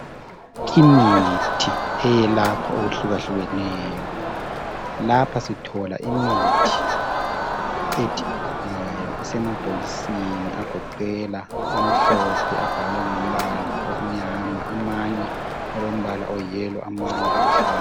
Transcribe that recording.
Imithi eyelapha okuhlukehlukeneyo. Lapha sithola imithi yona isemabhokisini agoqela amhlophe abhalwe ngombala omnyama, amanye alombala oyiyellow amanye aluhlaza.